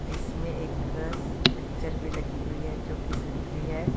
इसमें एक पिक्चर भी लगी हुई है जो की सीनरी है।